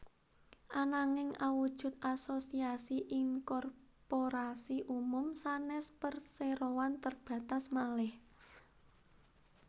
Ananging awujud asosiasi inkorporasi umum sanès perseroan terbatas malih